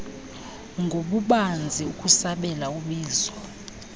ngobubanzi ukusabela ubizo